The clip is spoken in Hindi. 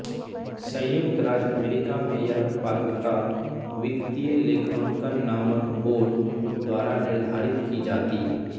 संयुक्त राज्य अमेरिका में यह पात्रता वित्तीय लेखांकन मानक बोर्ड द्वारा निर्धारित की जाती